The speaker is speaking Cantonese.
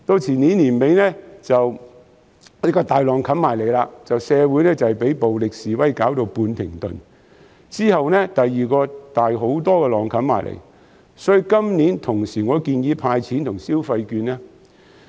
前年年底，一個巨浪湧至，社會被暴力示威弄至半停頓，之後第二個更大的浪湧過來，所以今年我建議同時"派錢"和派消費券。